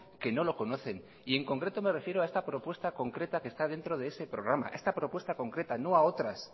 que no lo conocen y en concreto me refiero a esta propuesta concreta que está dentro de ese programa a esta propuesta concreta no a otras